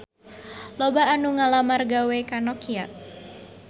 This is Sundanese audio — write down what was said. Loba anu ngalamar gawe ka Nokia